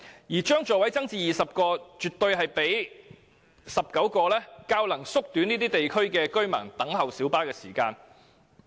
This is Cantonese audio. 因此，將小巴座位增至20個，絕對比19個座位較能縮短這些地區居民等候小巴的時間。